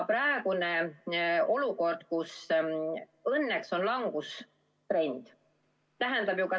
Praegu on olukord, kus õnneks on langustrend.